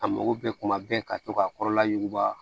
A mako bɛ kuma bɛɛ ka to ka kɔrɔla ɲuguba